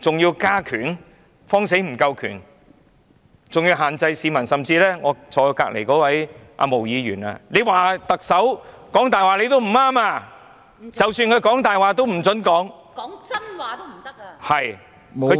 還怕權力不夠，還要限制市民，甚至我旁邊的毛議員指特首說謊也不行，即使特首說謊，也不准說出來......